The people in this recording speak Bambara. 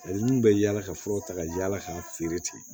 minnu bɛ yaala ka furaw ta ka yaala k'a feere ten